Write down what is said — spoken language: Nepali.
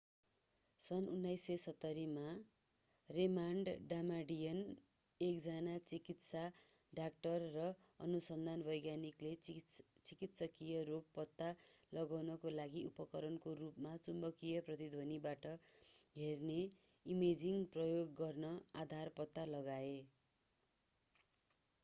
सन् 1970 मा रेमण्ड डामाडियन एकजना चिकित्सा डाक्टर र अनुसन्धान वैज्ञानिकले चिकित्सकिय रोग पत्ता लगाउनको लागि उपकरणको रूपमा चुम्बकीय प्रतिध्वनीबाट हेर्ने इमेजिङ प्रयोग गर्ने आधार पत्ता लगाए